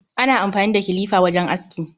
Ana amfani da kilifa wajen aski.